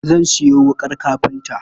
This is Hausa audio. Zan sayo wuƙar kafinta.